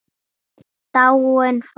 Dáin, farin.